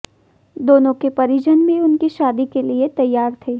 दोनों के परिजन भी उनकी शादी के लिए तैयार थे